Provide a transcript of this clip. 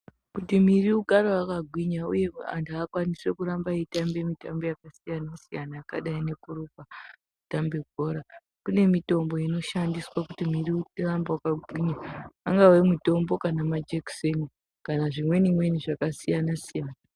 Kumuviri ugare yakagwinya uyekuti muntu akwanise kuramba eyitamba bhora kune mitombo inoshandiswa kuti miiri irambe yakagwinya ungava mutombo kana majekiseni kana zvimweni mweni zvakasiya siyana.